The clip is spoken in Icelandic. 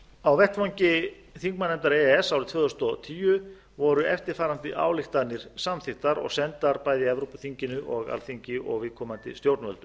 á vettvangi þingmannanefndar e e s árið tvö þúsund og tíu voru eftirfarandi ályktanir samþykktar og sendar bæði evrópuþinginu og alþingi og viðkomandi stjórnvöldum